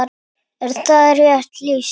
Er það rétt lýsing?